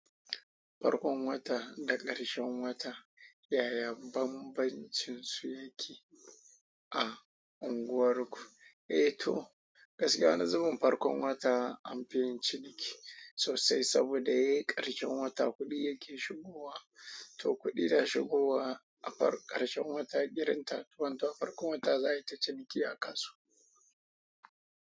Farkon wata da ƙarshen wata, yaya bambancinsu yake a unguwarku? Eh to, gaskiya wane zubin farkon wata an fi yin ciniki sosai saboda ye ƙarshen wata kuɗi yake shigowa. To kuɗi da shigowa a ƙarshen wata irin thirty one ta farkon wata za ai ta ciniki a kasuwa.